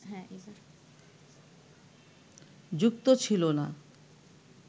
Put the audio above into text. যুক্ত ছিল না